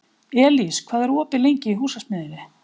Elís, hvað er opið lengi í Húsasmiðjunni?